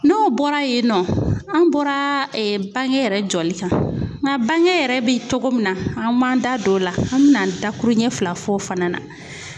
N'o bɔra yen nɔ ,an bɔra bange yɛrɛ jɔli kan .Nga bange yɛrɛ be cogo min na, an b'an da don o la an be na da kuru ɲɛ fila f'o fana na.